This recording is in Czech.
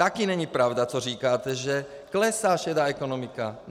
Taky není pravda, co říkáte, že klesá šedá ekonomika.